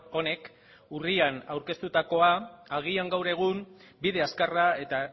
honek urrian aurkeztutakoa agian gaur egun bide azkarra eta